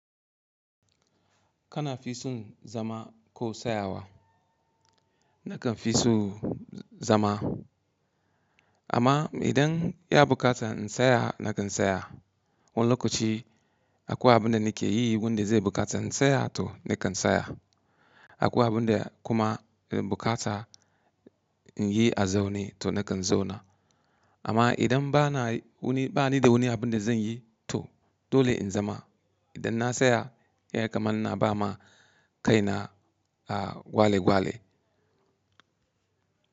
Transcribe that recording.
Kana fi son zama ko sayawa? Nakan fi so zama. Amma idan ya bukata in saya nakan saya. Wani lokaci akwai abunda nike yi wanda zai bukata in saya to nakan saya. Akwai abunda kuma bukata in yi a zaune to nakan zauna. Amma idan bana wani, bani da wani abinda zan yi to dole in zama. Idan na saya ya kaman ina ba ma kaina gwale gwale.